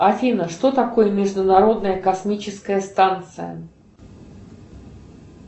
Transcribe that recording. афина что такое международная космическая станция